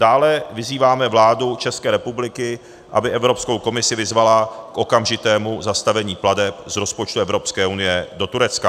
Dále vyzýváme vládu České republiky, aby Evropskou komisi vyzvala k okamžitému zastavení plateb z rozpočtu Evropské unie do Turecka.